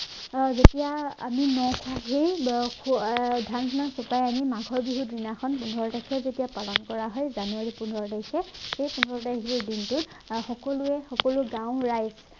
আৰু যেতিয়া আমি ন খোৱা সেই নখোৱা ধানবিলাক ফুটাই আনি মাঘৰ বিহু দিনা খন পোন্ধৰ তাৰিখে যেতিয়া পালন কৰা হয় জানুৱাৰী পোন্ধৰ তাৰিখে সেই পোন্ধৰ তাৰিখে দিনটোত আহ সকলোৱে সকলো গাঁৱৰ ৰাইজ